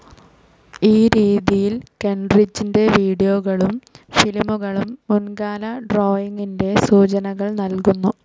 ഈ രീതിയിൽ, കെൻറിഡ്ജിന്റെ വീഡിയോകളും ഫിലിമുകളും മുൻകാല ഡ്രോയിങ്ങിന്റെ സൂചനകൾ നൽകുന്നു.